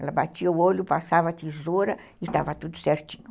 Ela batia o olho, passava a tesoura e estava tudo certinho.